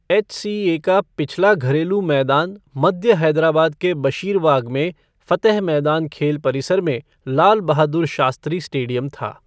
HCA का पिछला घरेलू मैदान मध्य हैदराबाद के बशीरबाग में फ़तेह मैदान खेल परिसर में लाल बहादुर शास्त्री स्टेडियम था।